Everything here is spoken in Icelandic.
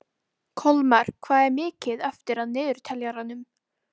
Kolmar, hvað er mikið eftir af niðurteljaranum?